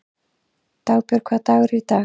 Dagbjörg, hvaða dagur er í dag?